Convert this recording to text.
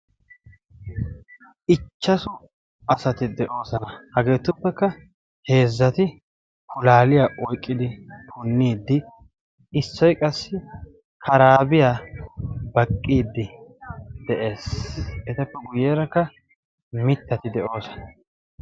Ichchasu asati de'oosona. hageetuppekka heezzati pulaaliya oyqqidi punniiddi issoi qassi karaabiyaa baqqiiddi de'ees. etappe guyyeerakka mittati de'oosona.